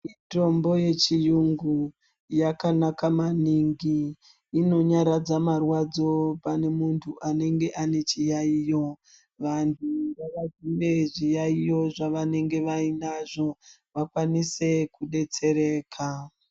Mitombo yechiyungu yakanaka maningi inonyaradza marwadzo pane muntu anenge ane chiyaiyo vantu ngavadzinge zviyaiyo zvavanenge vanazvo vakwanise kudetsereka.